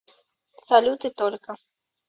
салют и только